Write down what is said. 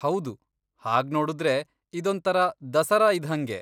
ಹೌದು, ಹಾಗ್ನೋಡುದ್ರೆ ಇದೊಂಥರ ದಸರಾ ಇದ್ಹಂಗೆ.